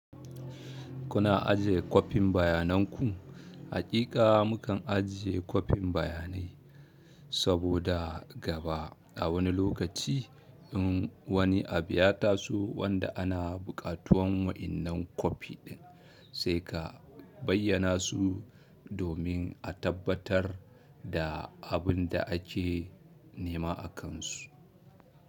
Kuna ajiye kwafin bayananku? Hakika mukan ajiye kwafin bayanai saboda gaba a wani lokaci in wani abu ya taso wanda ana buƙatuwan waƴannan kwafi ɗin sai ka bayyana su domin a tabbatar da abin da ake nema akansu.